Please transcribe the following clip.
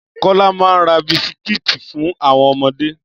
Kólá ma ra bisikítì fún àwọn ọmọdé.